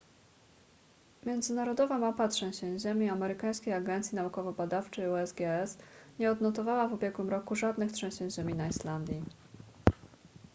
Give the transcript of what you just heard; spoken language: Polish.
międzynarodowa mapa trzęsień ziemi amerykańskiej agencji naukowo-badawczej usgs nie odnotowała w ubiegłym tygodniu żadnych trzęsień ziemi na islandii